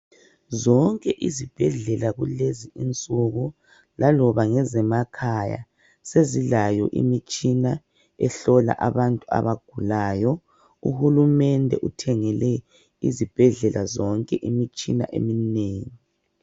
Zonke izibhedlela kulezi insuku laloba ngezemakhaya sezilayo imitshina ehlola abantu abagulayo. Uhulumende uthengele izibhedlela zonke imitshina eminengi.